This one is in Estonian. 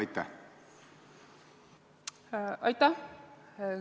Aitäh!